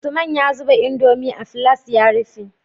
Usman ya zuba indomie a filas ya rufe